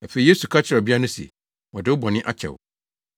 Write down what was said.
Afei Yesu ka kyerɛɛ ɔbea no se, “Wɔde wo bɔne akyɛ wo.”